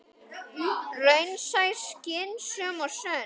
Raunsæ, skynsöm og sönn.